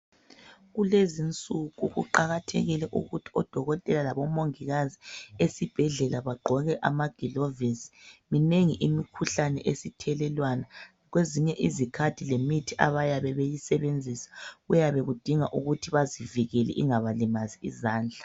Kulezinsuku kuqakathekile ukuthi odokotela labomongikazi esibhedlela bagqoke amagilovisi minengi imikhuhlane esithelelwana kwezinye izikhathi lemithi abayabe beyisebenzisa kuyabe kudinga ukuthi bazivikele ingabalimazi izandla.